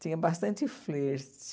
Tinha bastante flerte.